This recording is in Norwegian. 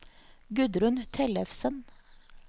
Gudrun Tellefsen